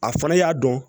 A fana y'a dɔn